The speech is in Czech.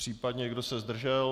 Případně kdo se zdržel?